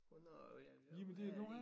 Hvornår er og hvad er lige